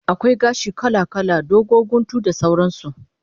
Akwai gashi kala kala, dogo, guntu da sauran su